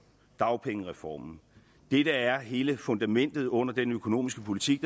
dagpengereformen det der er hele fundamentet under den økonomiske politik